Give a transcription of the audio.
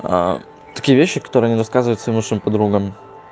такие вещи которые не рассказывает своим лучшим подругами